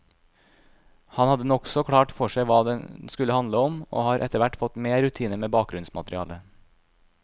Han hadde nokså klart for seg hva den skulle handle om, og har etterhvert fått mer rutine med bakgrunnsmaterialet.